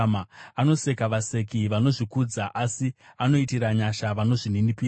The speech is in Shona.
Anoseka vaseki vanozvikudza, asi anoitira nyasha vanozvininipisa.